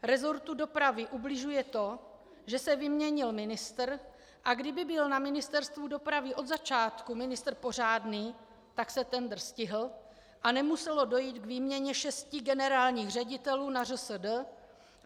Resortu dopravy ubližuje to, že se vyměnil ministr, a kdyby byl na Ministerstvu dopravy od začátku ministr pořádný, tak se tendr stihl a nemuselo dojít k výměně šesti generálních ředitelů na ŘSD.